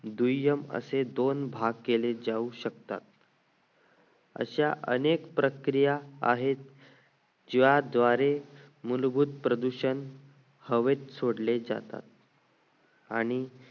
दुय्य्म असे षण हवेत सोडले जातात आणि